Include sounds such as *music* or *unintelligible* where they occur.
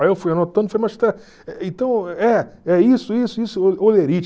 Aí eu fui anotando e falei, mas *unintelligible* então é é isso, isso, isso, olerite.